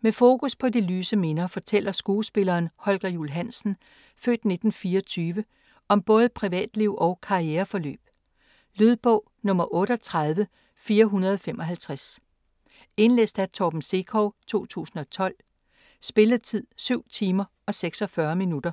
Med fokus på de lyse minder fortæller skuespilleren Holger Juul Hansen (f. 1924) om både privatliv og karriereforløb. Lydbog 38455 Indlæst af Torben Sekov, 2012. Spilletid: 7 timer, 46 minutter.